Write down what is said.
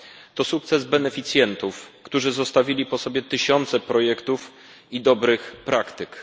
To sukces beneficjentów, którzy zostawili po sobie tysiące projektów i dobrych praktyk.